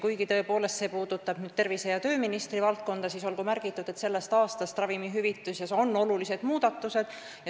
Kuigi see puudutab tervise- ja tööministri valdkonda, siis olgu märgitud, et sellest aastast on ravimite hüvitamises suured muudatused.